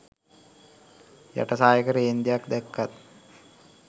යට සායක රේන්දයක් දැක්කත්